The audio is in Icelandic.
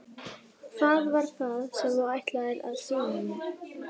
Hvað var það sem þú ætlaðir að sýna mér?